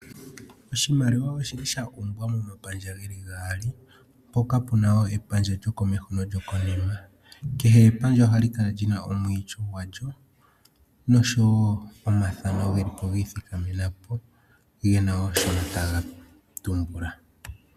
Oshimaliwa oshili sha longwa momapandja geli gaali mpoka pena epandja lyokomeho no lyokonima . Kehe epandja ohali kala lina omwiityo gwalyo noshowo omathano gelipo gi ithikamenapo gena shono taga tumbula.